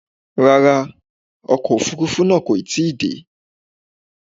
Rárá, ọkọ̀ Òfurufú náà kò tí ì dé.